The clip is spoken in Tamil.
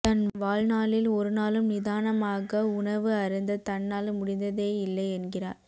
தன்வாழ்நாளில் ஒரு நாளும் நிதானமாக உணவு அருந்த தன்னால் முடிந்ததேயில்லை என்கிறார்